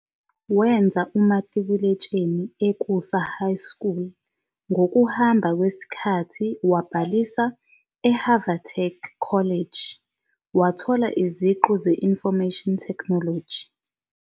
Wenza umatikuletsheni e-Ukusa High School, ngokuhamba kwesikhathi wabhalisa eHavatech College, wathola iziqu ze- Information Technology.